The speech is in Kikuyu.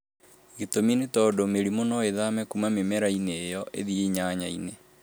Gĩtũmi nĩ tondũ mĩrimũ no ĩthame kuma mĩmera -inĩ ĩyo ĩthiĩ nyanya-inĩ